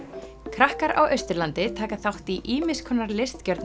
krakkar á Austurlandi taka þátt í ýmiss konar